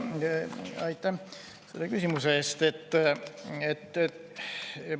Aitäh selle küsimuse eest!